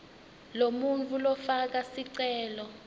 lomuntfu lofaka sicelo